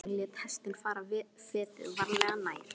Drengurinn lét hestinn fara fetið, varlega, nær.